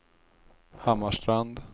Hammarstrand